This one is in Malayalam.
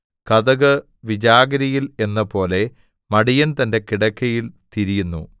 കതക് വിജാഗിരിയിൽ എന്നപോലെ മടിയൻ തന്റെ കിടക്കയിൽ തിരിയുന്നു